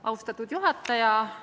Austatud juhataja!